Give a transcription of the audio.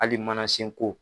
Hali manasenko.